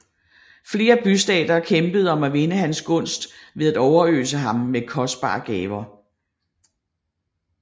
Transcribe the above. Flere bystater kæmpede om at vinde hans gunst ved at overøse ham med kostbare gaver